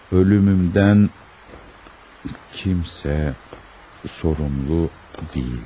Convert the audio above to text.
Ölümümdən kimsə sorumlu deyildir.